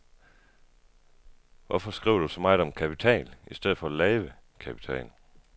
Hvorfor skriver du så meget om kapital i stedet for at lave kapital.